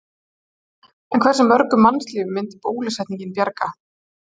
En hversu mörgum mannslífum myndi bólusetningin bjarga?